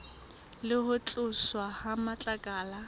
le ho tloswa ha matlakala